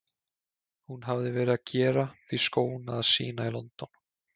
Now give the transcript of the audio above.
Hún hafði verið að gera því skóna að sýna í London.